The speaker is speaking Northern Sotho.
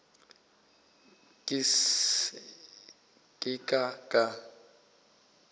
ke se ka ka ka